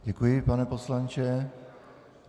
Děkuji, pane poslanče.